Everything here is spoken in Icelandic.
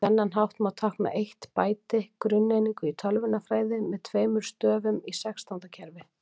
Á þennan hátt má tákna eitt bæti, grunneiningu í tölvunarfræði, með tveimur stöfum í sextándakerfinu.